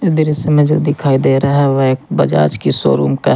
दृश्य में जो दिखाई दे रहा है वह बजाज की शोरूम का है।